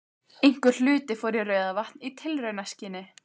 Einhver hluti fór í Rauðavatn í tilraunaskyni.